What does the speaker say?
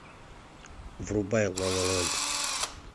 врубай ла ла ленд